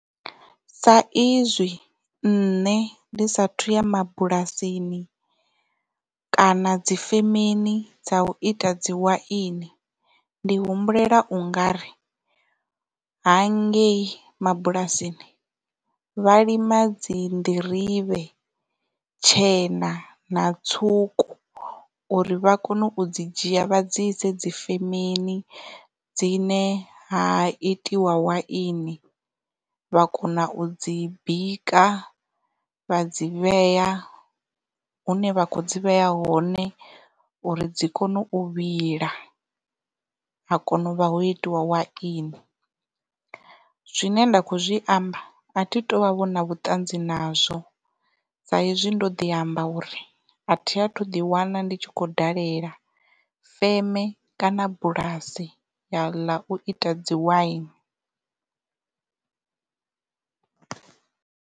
Sa izwi nne ndi sathu ya mabulasini kana dzifemeni dza u ita dzi waini ndi humbulela u nga ri ha ngei mabulasini vha lima dzi nḓirivhe tshena na tswuku uri vha kone u dzi dzhia vha dzi ise dzifeme dzine ha itiwa waini vha kona u dzi bika vha dzi vheya hune vha kho dzi vheya hone uri dzi kone u vhila ha kona u vha ho itiwa waini. Zwine nda kho zwi amba a thi tu vha vho na vhuṱanzi nazwo sa hezwi ndo ḓi amba uri a thi a thu ḓi wana ndi tshi kho dalela feme kana bulasi ḽa u ita dzi waini.